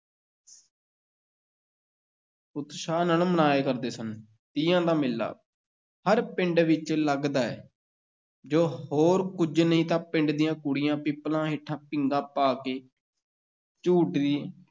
ਉਤਸ਼ਾਹ ਨਾਲ ਮਨਾਇਆ ਕਰਦੇ ਸਨ, ਤੀਆਂ ਦਾ ਮੇਲਾ ਹਰ ਪਿੰਡ ਵਿੱਚ ਲੱਗਦਾ ਹੈ ਜੇ ਹੋਰ ਕੁਝ ਨਹੀਂ ਤਾਂ ਪਿੰਡ ਦੀਆਂ ਕੁੜੀਆਂ, ਪਿੱਪਲਾਂ ਹੇਠਾਂ ਪੀਂਘਾਂ ਪਾ ਕੇ ਝੂਟਦੀ